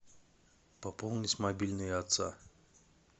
пополнить мобильный отца